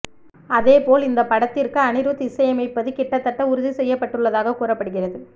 அதேபோல் இந்த படத்திற்கு அனிருத் இசை அமைப்பது கிட்டத்தட்ட உறுதி செய்யப்பட்டுள்ளதாக கூறப்படுகிறது